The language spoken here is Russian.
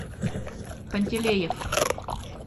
пантелеев